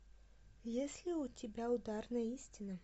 есть ли у тебя ударная истина